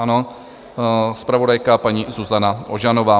Ano, zpravodajka paní Zuzana Ožanová.